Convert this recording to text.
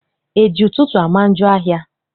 E ji ụtụtụ ama njọ ahịa?